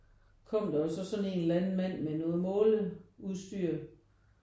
Kom der jo sådan en eller anden mand med noget måleudstyr